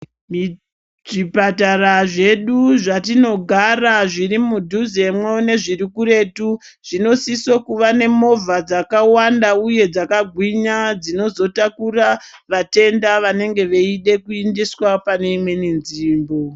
Zvipatara zvatinogara zviri mudhuzemwo nezviri kuretu zvinosise kuva nemovha dzakawanda uye dzakagwinya dzinozotakura vatenda vanenge veida kuendeswa paneimweni nzvimbo.